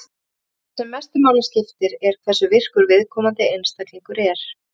Það sem mestu máli skiptir er hversu virkur viðkomandi einstaklingur er.